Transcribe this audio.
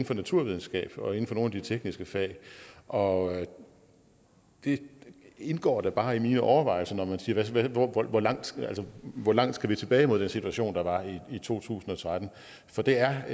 for naturvidenskab og inden for nogle af de tekniske fag og det indgår da bare i mine overvejelser at man siger hvor langt hvor langt skal vi tilbage mod den situation der var i 2013 for det er